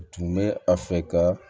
Tun bɛ a fɛ ka